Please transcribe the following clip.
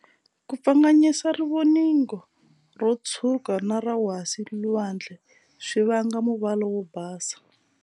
Kupfanganyisa rivoningo ro tshwuka na ra wasi-lwandle swi vanga muvala wo basa.